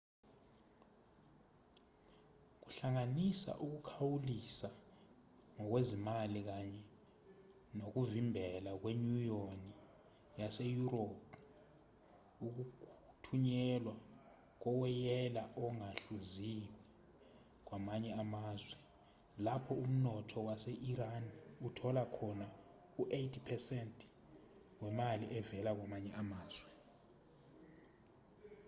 kuhlanganisa ukukhawulisa ngokwezimali kanye nokuvimbela kwenyunyoni yaseyurophu ukuthunyelwa kowoyela ongahluziwe kwamanye amazwe lapho umnotho wase-iran uthola khona u-80% wemali evela kwamanye amazwe